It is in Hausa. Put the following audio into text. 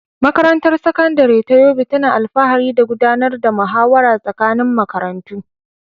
Makarantar Sakandare ta Yobe tana alfahari da gudanar da muhawara tsakanin makarantu.